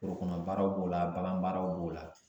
Forokɔnɔbaaraw b'o la baganbaaraw b'o la